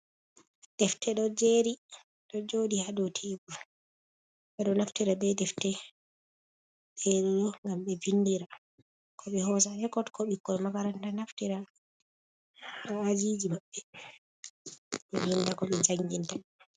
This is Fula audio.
Defte ɗo jeeri, ɗo jooɗi haa dow teebur, ɓe ɗo naftira be defte boo ngam ɓe binndira, ko ɓe hoosa ekkutungo ko ɓikkoy makaranta naftira haa ajiiji maɓɓe, be dow ko be janginta.